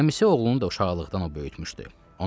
Əmisi oğlunu da uşaqlıqdan o böyütmüşdü.